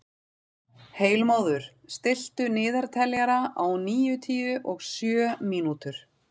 Heilmóður, stilltu niðurteljara á níutíu og sjö mínútur.